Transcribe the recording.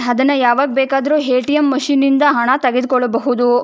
ಅದನ್ನ ಯಾವಾಗ ಬೇಕಾದ್ರು ಎ.ಟಿ.ಎಂ ಮಷೀನ್ ನಿಂದ ಹಣ ತೆಗೆದುಕೊಳ್ಳಬಹುದು.